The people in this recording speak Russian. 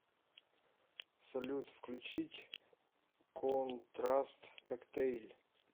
салют включить контраст коктейль